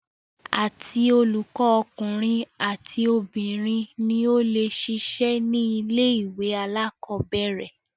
Àti olùkọ ọkùnrin àti obìnrin ni o le ṣiṣẹ́ ní ilé ìwé alákọ̀berẹ̀.